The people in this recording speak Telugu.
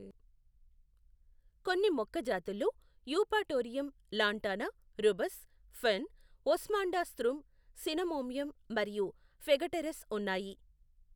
కొన్ని మొక్క జాతుల్లో Eupatorium, Lantana, Rubus, fern, Osmundastrum cinnamomeum మరియు ఫెగటెరస్ ఉన్నాయి.